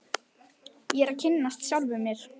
Ég er að kynnast sjálfum mér.